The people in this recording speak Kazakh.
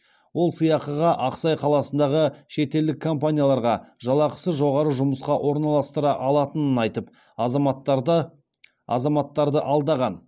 ол сыйақыға ақсай қаласындағы шетелдік компанияларға жалақысы жоғары жұмысқа орналастыра алатынын айтып азаматтарды алдаған